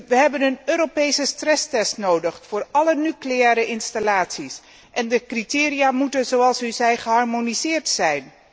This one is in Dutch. Wij hebben een Europese stresstest nodig voor alle nucleaire installaties en de criteria moeten, zoals u zei, geharmoniseerd zijn.